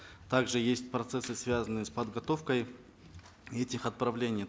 также есть процессы связанные с подготовкой этих отправлений